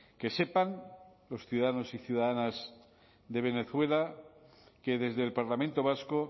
que sepan los ciudadanos y ciudadanas de venezuela que desde el parlamento vasco